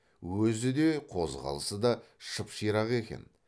өзі де қозғалысы да шып ширақ екен